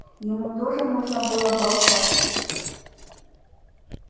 ему тоже нужно было болтать